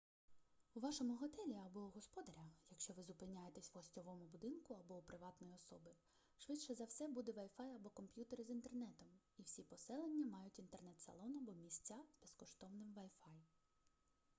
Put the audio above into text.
у вашому готелі або у господаря якщо ви зупиняєтесь в гостьовому будинку або у приватної особи швидше за все буде wi-fi або комп'ютер із інтернетом і всі поселення мають інтернет-салон або місця з безкоштовним wi-fi